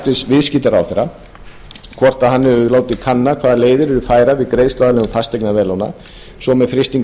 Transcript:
viðskiptaráðherra hvort hann hafi látið látið kanna hvaða leiðir eru færar við greiðsluaðlögun fasteignaveðlána svo sem með frystingu